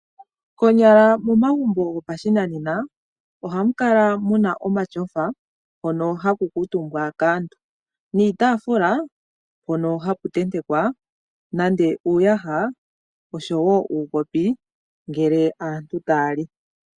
Konyala momagumbo gopashinanena ohamu kala muna omatyofa hono haku kutuumbwa kaantu. Niitaafula hono haku tentekwa nande iiyaha oshowo uukopi ngele aantu taya li.